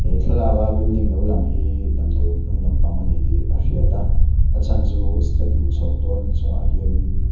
thlalaka building lo lang hi damdawiin hnung lampang a ni tih a hriat a a chhan chu step luh chhauh dawn chungah hianin me--